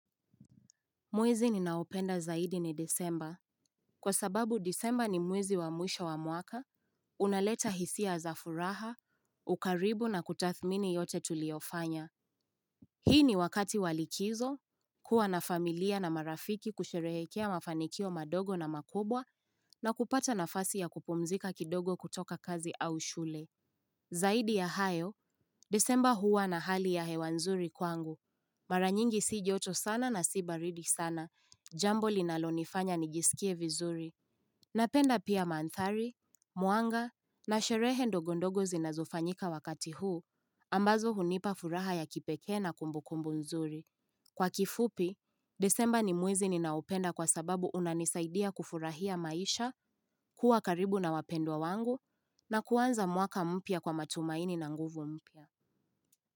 Mwezi ninaopenda zaidi ni Desemba. Kwa sababu Desemba ni mwezi wa mwisha wa mwaka. Unaleta hisia za furaha, ukaribu na kutathmini yote tuliyofanya. Hii ni wakati walikizo. Kuwa na familia na marafiki kusherehekea mafanikio madogo na makubwa na kupata nafasi ya kupumzika kidogo kutoka kazi au shule. Zaidi ya hayo, Desemba huwa na hali ya hewa nzuri kwangu. Mara nyingi si joto sana na si baridi sana. Jambo linalonifanya nijisikie vizuri Napenda pia maandhari, mwanga na sherehe ndogondogo zinazofanyika wakati huu ambazo hunipa furaha ya kipekee na kumbukumbu nzuri Kwa kifupi, desemba ni mwezi ninaopenda kwa sababu unanisaidia kufurahia maisha kuwa karibu na wapendwa wangu na kuanza mwaka mpya kwa matumaini na nguvu mpya.